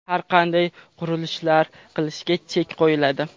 har qanday qurilishlar qilishga chek qo‘yiladi.